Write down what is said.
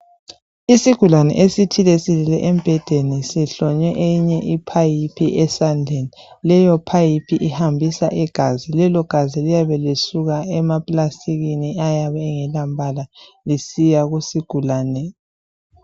Isigulane esithile silele embhedeni sihlonywe eyinye I pipe esandleni leyo pipe ihambisa igazi lelo gazi liyabe lisuka ema plastikini ayabe engela mbala lisiya kusigulani